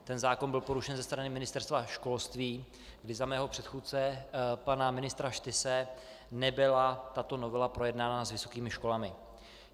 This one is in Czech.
Ten zákon byl porušen ze strany Ministerstva školství, kdy za mého předchůdce pana ministra Štyse nebyla tato novela projednána s vysokými školami.